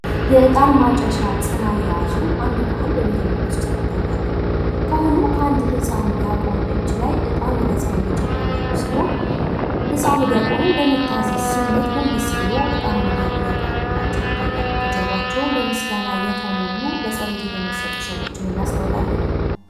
የዕጣን ማጨሻ ፅና የያዙ አንድ ካህን በቤተ መቅደስ ውስጥ ይታያሉ ፤ ካህኑ ከአንድ ዲያቆን ህፃን እጅ ላይ እጣን ወደ ፅናው እየጨመሩ ያሉ ሲሆን ህጻኑም ዲያቆኑን በመታዘዝ ስሜት ጎንበስ ብሎ እጣኑን እያቀረበላቸው ይታያል። ከጀርባቸውም በምስጋና የተሞሉ በፀሎት የተመሰጡ ሰዎችን እናስተውላለን።